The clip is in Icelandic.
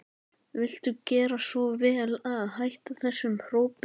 Viltu gera svo vel að hætta þessum hrópum!